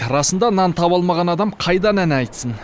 расында нан таба алмаған адам қайдан ән айтсын